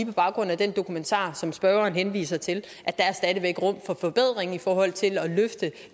på baggrund af den dokumentar som spørgeren henviser til må at der stadig væk er rum for forbedring i forhold til at løfte